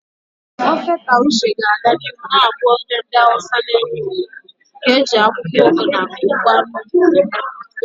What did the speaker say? Ofe Taushe ga-aga n'ihu na-abụ ofe ndị Hausa na-ewu ewu nke e ji akwụkwọ ugu na ngwa nri eme.